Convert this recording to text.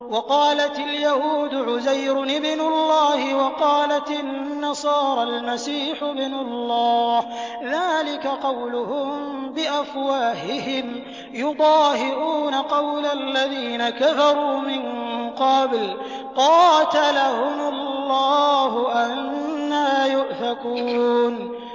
وَقَالَتِ الْيَهُودُ عُزَيْرٌ ابْنُ اللَّهِ وَقَالَتِ النَّصَارَى الْمَسِيحُ ابْنُ اللَّهِ ۖ ذَٰلِكَ قَوْلُهُم بِأَفْوَاهِهِمْ ۖ يُضَاهِئُونَ قَوْلَ الَّذِينَ كَفَرُوا مِن قَبْلُ ۚ قَاتَلَهُمُ اللَّهُ ۚ أَنَّىٰ يُؤْفَكُونَ